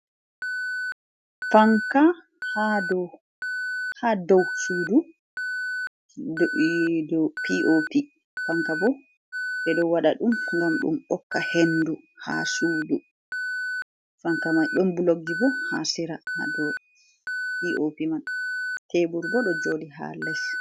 Fanka ha dou ha dou Sudu, dou P.O.P Fanka bo ɓe ɗo Waɗa ɗum gam ɗum ɓokka Hendu ha sudu, fanka mai ɗom bulokjibo ha sira hado P.OP man, Tebur bo ɗo joɗi ha Les.